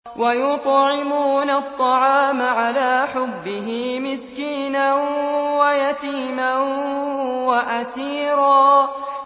وَيُطْعِمُونَ الطَّعَامَ عَلَىٰ حُبِّهِ مِسْكِينًا وَيَتِيمًا وَأَسِيرًا